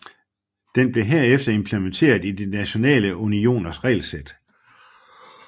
Den blev herefter implementeret i de nationale unioners regelsæt